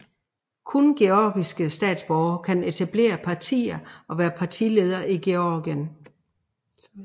Kun georgiske statsborgere kan etablere partier og være partiledere i Georgien